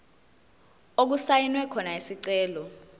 okusayinwe khona isicelo